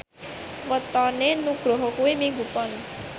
wetone Nugroho kuwi Minggu Pon